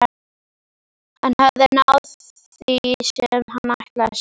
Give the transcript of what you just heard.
Hann hafði náð því sem hann ætlaði sér.